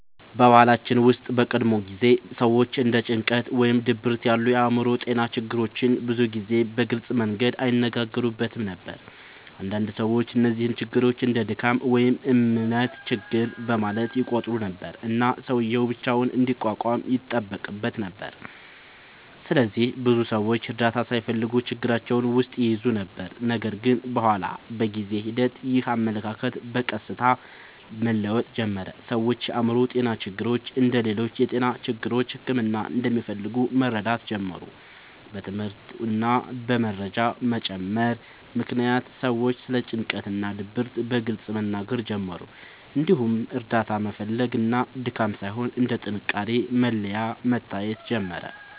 በባህላችን ውስጥ በቀድሞ ጊዜ ሰዎች እንደ ጭንቀት ወይም ድብርት ያሉ የአእምሮ ጤና ችግሮችን ብዙ ጊዜ በግልጽ መንገድ አይነጋገሩበትም ነበር። አንዳንድ ሰዎች እነዚህን ችግሮች እንደ “ድካም” ወይም “እምነት ችግር” በማለት ይቆጥሩ ነበር፣ እና ሰውዬው ብቻውን እንዲቋቋም ይጠበቅበት ነበር። ስለዚህ ብዙ ሰዎች እርዳታ ሳይፈልጉ ችግራቸውን ውስጥ ይይዙ ነበር። ነገር ግን በኋላ በጊዜ ሂደት ይህ አመለካከት በቀስታ መለወጥ ጀመረ። ሰዎች የአእምሮ ጤና ችግሮች እንደ ሌሎች የጤና ችግሮች ሕክምና እንደሚፈልጉ መረዳት ጀመሩ። በትምህርት እና በመረጃ መጨመር ምክንያት ሰዎች ስለ ጭንቀት እና ድብርት በግልጽ መናገር ጀመሩ፣ እንዲሁም እርዳታ መፈለግ እንደ ድካም ሳይሆን እንደ ጥንካሬ መለያ መታየት ጀመረ።